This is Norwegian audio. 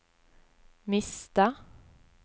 miste